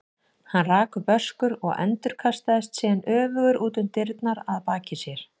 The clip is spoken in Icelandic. Hann rak upp öskur og endurkastaðist síðan öfugur út um opnar dyrnar að baki sér.